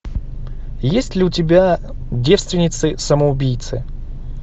есть ли у тебя девственницы самоубийцы